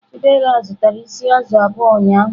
Chidera zụtara isi azụ̀ abụọ ụnyahụ.